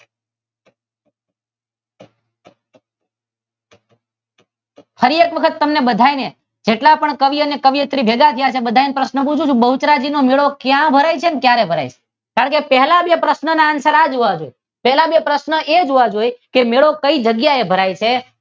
ફરી એક વાર તમને બધાને જેટલા પણ કવિ અને કવિઓ શ્રી ભેગા થયા છે તે બધા ને પ્રશ્ન પૂછું છું કે બહુચરાજી નો મેળો ક્યાં ભરાય છે અને ક્યારેય ભરાય છે પહેલા બે પ્રશ્નો ના આન્સર આ જ હોવા જોઈ અને પહેલા બે પ્રશ્નો એ જ હોવા જોઈ મેળો કઈ જગ્યાએ ભરાય છે?